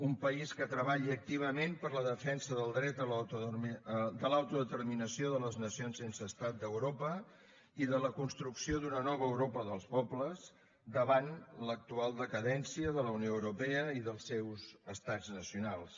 un país que treballi activament per la defensa del dret de l’autodeterminació de les nacions sense estat d’europa i de la construcció d’una nova europa dels pobles davant l’actual decadència de la unió europea i dels seus estats nacionals